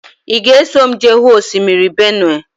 Ị ga-eso m jee hụ osimiri Benue?